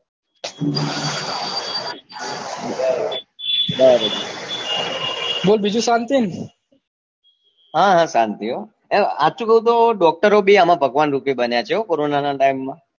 બોલ બીજું શાંતિ હા હા શાંતિ હો સાચું કઉ તો doctor ઓ ભી ભગવાન રૂપ બન્યાછે corona ના time માં